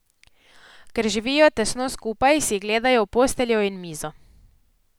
Ker živijo tesno skupaj, si gledajo v posteljo in mizo.